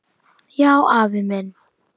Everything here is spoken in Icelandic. Já, afi minn.